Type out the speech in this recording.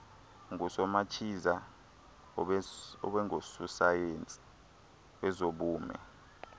ngusomachiza abengusosayensi wezobume